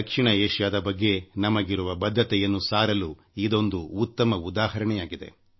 ದಕ್ಷಿಣ ಏಷಿಯಾದ ಬಗ್ಗೆ ನಮಗಿರುವ ಬದ್ಧತೆಯನ್ನು ಸಾರಲು ಇದೊಂದು ಉತ್ತಮ ಉದಾಹರಣೆಯಾಗಿದೆ